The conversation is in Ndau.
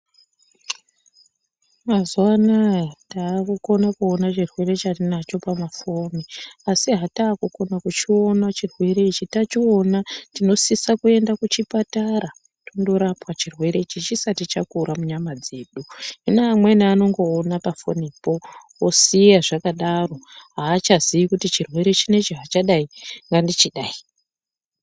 Mazuvaanaya takukukona kuona chirwere chatinacho pamafoni, asi hataakukona kuchiona chirwere ichi, tachiona tinosisa kuenda kuchipatara, tindorapwa chirwere ichi chisati chakura munyama dzedu, hino amweni anongoona pafonipo vosiya zvakadaro, hachazivi kuti chirwere chinechi hachadayi ,ngandichidayi.